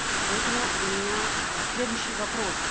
поэтому у меня э следующий вопрос